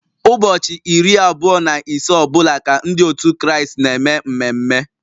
Ụbọchị iri abụọ na ise ọ bụla ka Ndị otu Kraịst na-eme mmeme